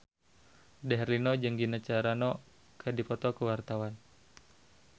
Dude Herlino jeung Gina Carano keur dipoto ku wartawan